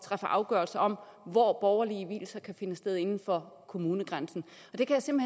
afgørelse om hvor borgerlige vielser kan finde sted inden for kommunegrænsen det kan